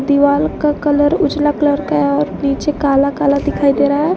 दीवाल का कलर उजला कलर का है और नीचे काला काला दिखाई दे रहा हैं।